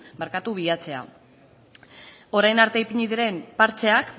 bilatzea orain arte ipini diren partxeak